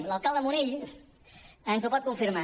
l’alcalde munell ens ho pot confirmar